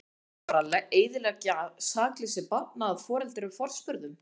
Á nú að fara eyðileggja sakleysi barnanna að foreldrum forspurðum?